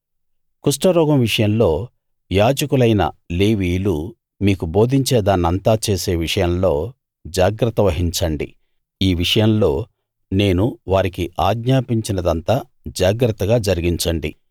కుష్టురోగం విషయంలో యాజకులైన లేవీయులు మీకు బోధించే దాన్నంతా చేసే విషయంలో జాగ్రత్త వహించండి ఈ విషయంలో నేను వారికి ఆజ్ఞాపించినదంతా జాగ్రత్తగా జరిగించండి